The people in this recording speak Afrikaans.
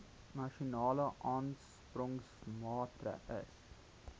nasionale aansporingsmaatre ls